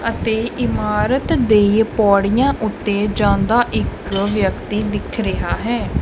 ਅਤੇ ਇਮਾਰਤ ਦੇ ਪੌੜੀਆਂ ਉੱਤੇ ਜਾਂਦਾ ਇੱਕ ਵਿਅਕਤੀ ਦਿੱਖ ਰਿਹਾ ਹੈ।